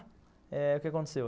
Eh... O que aconteceu?